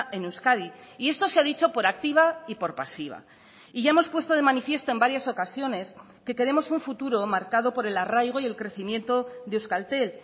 en euskadi y eso se ha dicho por activa y por pasiva y ya hemos puesto de manifiesto en varias ocasiones que queremos un futuro marcado por el arraigo y el crecimiento de euskaltel